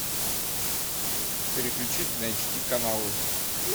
переключить на эйч ди каналы